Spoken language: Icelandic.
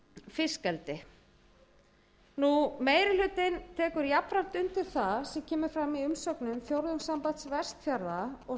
fiskeldi meiri hlutinn tekur jafnframt undir það sem kemur fram í umsögnum fjórðungssambands vestfjarða og